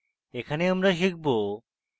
এখানে আমরা শিখব: